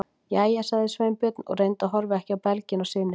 Jæja- sagði Sveinbjörn og reyndi að horfa ekki á belginn á syni sínum.